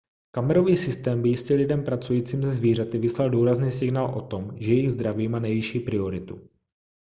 kamerový systém by jistě lidem pracujícím se zvířaty vyslal důrazný signál o tom že jejich zdraví má nejvyšší prioritu